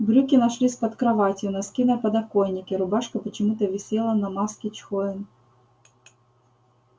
брюки нашлись под кроватью носки на подоконике рубашка почему-то висела на маске чхоен